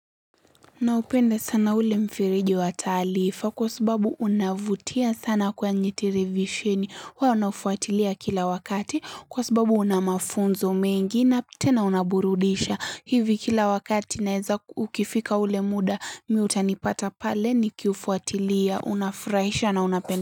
Naupenda sana ule mfereji wa taarifa kwa sababu unavutia sana kwenye televisheni huwa naufuatilia kila wakati kwa sababu una mafunzo mengi na tena unaburudisha hivi kila wakati naeza ukifika ule muda mmi utanipata pale nikiufuatilia, unafurahisha na unapende.